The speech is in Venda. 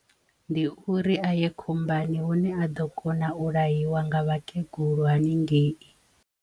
Ndi uri a ye khombani hune a ḓo kona u laiwa nga vhakegulu haningei.